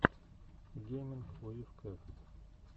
гейминг уив кев